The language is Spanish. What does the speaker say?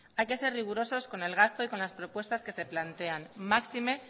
hay que ser rigurosos con el gasto y con las propuestas que se plantean máxime